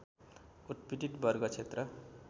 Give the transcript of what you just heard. उत्पीडित वर्ग क्षेत्र